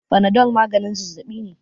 Fanadol maganin zazzabi ne